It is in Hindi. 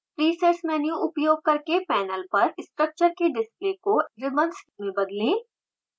presets मेन्यू उपयोग करके पैनल पर स्ट्रक्चर के डिस्प्ले को ribbons में बदलें